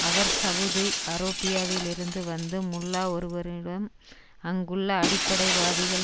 அவர் Saudi அரோபியாவில் இருந்து வந்து முல்லா ஒருவரிடம் அங்குள்ள அடிப்படைவாதிகள்